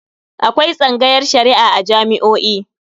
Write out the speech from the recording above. Akwai tsangayar Shari'a a jami'o'i.